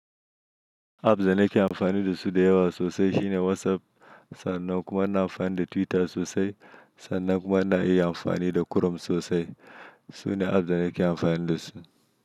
Apps da nake amfani da su da yawa sosai shine WhatsApp sannan kuma na amfani da Twitter sosai sannan kuma na iya amfani da Chrome sosai. Sune apps da nake amfani da su.